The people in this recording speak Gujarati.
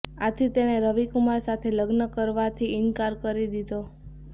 આથી તેણે રવિ કુમાર સાથે લગ્ન કરવાથી ઈનકાર કરી દીધો